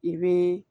I bɛ